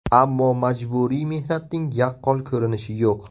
Ammo majburiy mehnatning yaqqol ko‘rinishi yo‘q.